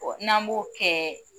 Ɔ n'an b'o kɛɛɛ